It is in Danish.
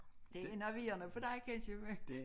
Det enerverende for dig kan jeg se på